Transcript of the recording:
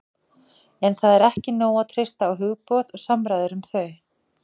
En það er ekki nóg að treysta á hugboð og samræður um þau.